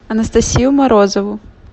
анастасию морозову